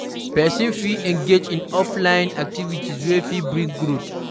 Person fit engage in offline activities wey fit bring growth